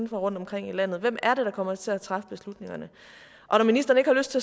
rundtomkring i landet hvem er det der kommer til at træffe beslutningerne og når ministeren ikke har lyst